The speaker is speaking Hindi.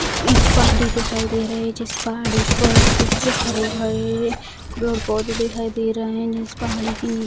एक पहाड़ी दिखाई दे रहे है जिस पहाड़ी पर कुछ हरे भरे पेड़ पौधे दिखाई दे रहे हैं जिस पहाड़ी के नि --